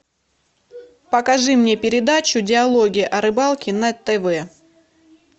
покажи мне передачу диалоги о рыбалке на тв